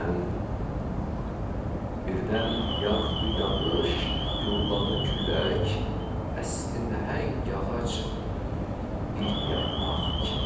Birdən, birdən yağdı yağış, gurladı külək, əsti nəhəng ağac bir yarpaq kimi.